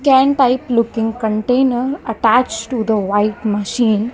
can type looking container attach to the white machine --